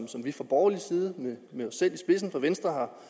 vi fra borgerlig side med os selv i venstre